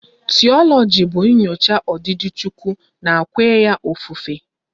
Tiologi bụ nyocha odidi Chukwu na kwenya ofufe